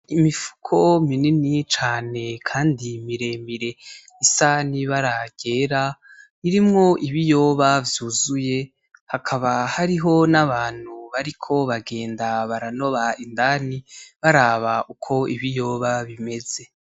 Imifuko minini cane kandi miremire isa n'ibara ryera irimwo ibiyoba vyuzuye hakaba hariho n' abantu bariko bagenda baranoba indani baraba uko ibiyoba bimeze.